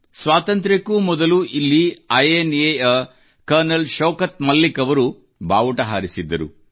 ಸ್ವಾತಂತ್ರ್ಯಕ್ಕೂ ಮೊದಲು ಇಲ್ಲಿ I N A ಯ ಕರ್ನಲ್ ಶೌಕತ್ ಮಲ್ಲಿಕ್ ಅವರು ಬಾವುಟ ಹಾರಿಸಿದ್ದರು